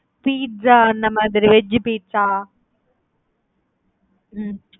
Pizza அந்த மாறி veg pizza.